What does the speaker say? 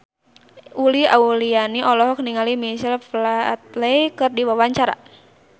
Uli Auliani olohok ningali Michael Flatley keur diwawancara